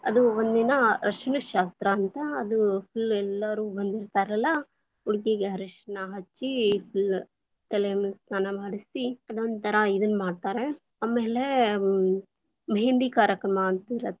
ಅದು ಒಂದಿನ ಅರಿಶಿನ ಶಾಸ್ತ್ರ ಅಂತ, ಅದು full lang:Foreign ಎಲ್ಲಾರೂ ಬಂದಿರ್ತಾರಲ್ಲಾ ಹುಡ್ಗಿಗ್ ಅರಿಶಿನ ಹಚ್ಚಿ full lang:Foreign ತಲೆ ಸ್ನಾನ ಮಾಡಿಸಿ ಅದೊಂಥರಾ ಇದನ್ನ ಮಾಡ್ತಾರ, ಆಮೇಲೆ ಮೆಹಂದಿ ಕಾರ್ಯಕ್ರಮ ಅಂತಿರ್‌.